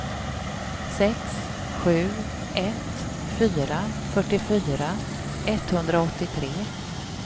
sex sju ett fyra fyrtiofyra etthundraåttiotre